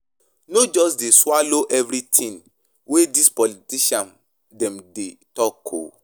No just dey swallow everytin wey dis politician dem dey talk o.